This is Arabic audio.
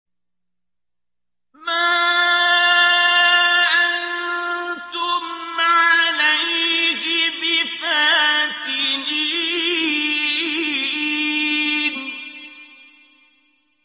مَا أَنتُمْ عَلَيْهِ بِفَاتِنِينَ